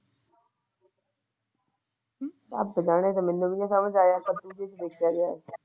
ਰੱਬ ਜਾਣੇ ਇਹ ਤਾ ਮੈਨੂੰ ਵੀ ਨਹੀਂ ਸੱਮਝ ਨਹੀਂ ਆਇਆ ਪਤਾ ਨੀ ਕਿ ਕੀਤਾ?